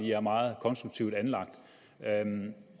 jeg er meget konstruktivt anlagt